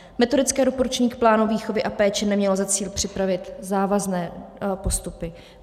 Metodické doporučení k plánu výchovy a péče nemělo za cíl připravit závazné postupy.